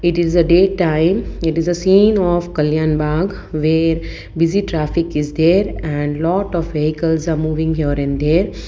it is a day time it is a scene of kalyan bank where busy traffic is there and lot of vehicles are moving here and there.